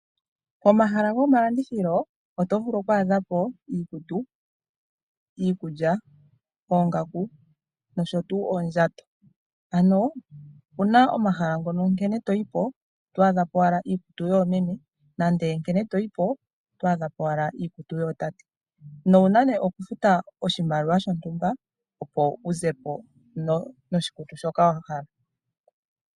Pomahala gomalandithilo oto vulu oku adha po iikutu, iikulya, oongaku nosho tuu oondjato. Ano, opu na omahala ngono nkene to yi po, oto adha po owala iikutu yoomeme, nande nkene to yi po oto adha po owala iikutu yootate, nowu na nee okufuta oshimaliwa shontumba opo wu ze po noshikutu shoka wa hala.